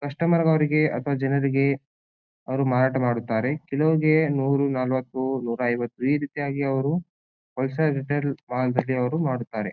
Customer ದವರಿಗೆ ಅಥವಾ ಜನರಿಗೆ ಅವ್ರು ಮಾರಾಟ ಮಾಡುತ್ತಾರೆ. ಕೆಲ್ವಗೆ ನೂರ್ ನಲವತ್ತು ನೂರ್ ಐವತ್ತು ಈ ರೀತಿಯಾಗಿ ಅವ್ರು ಮಾಡುತ್ತಾರೆ.